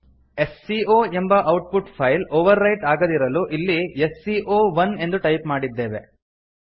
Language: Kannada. ಎಸ್ ಸಿ ಒ ಎಂಬ output file overwrite ಆಗದಿರಲು ಇಲ್ಲಿ ಎಸ್ ಸಿ ಒ ಒನ್ ಎಂದು ಟೈಪ್ ಮಾಡಿದ್ದೇವೆ